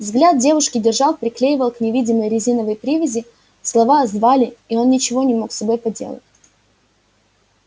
взгляд девушки держал приклеивал к невидимой резиновой привязи слова звали и он ничего не мог с собой поделать